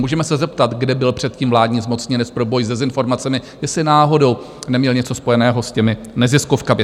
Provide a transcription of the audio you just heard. Můžeme se zeptat, kde byl předtím vládní zmocněnec pro boj s dezinformacemi, jestli náhodou neměl něco spojeného s těmi neziskovkami?